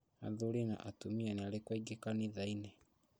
Athuri na atumia nĩarikũ aingĩ kanithainĩ